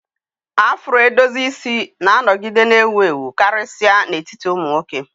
Afro edozi isi na-anọgide na-ewu ewu, karịsịa n'etiti ụmụ nwoke.